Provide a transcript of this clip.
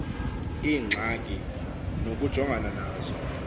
iingxaki nokujongana nazo